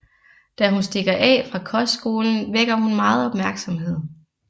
Da hun stikker af fra kostskolen vækker hun meget opmærksomhed